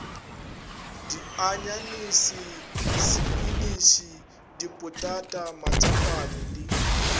dianyanese sepiniše dipotata matsapane le